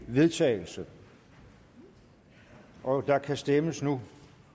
vedtagelse og der kan stemmes nu